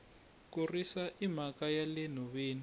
ku risa i mhaka yale nhoveni